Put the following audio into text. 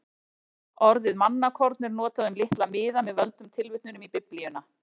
Orðið mannakorn er notað um litla miða með völdum tilvitnunum í Biblíuna.